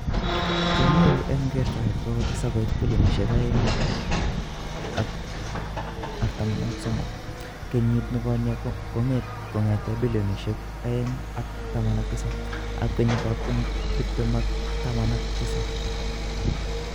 Chekinyoru eng kertoet kokotesak koit bilionisiek $2.43 kenyit nekonye kongete bilionisiek $2.19 ab kenyit ab 2017.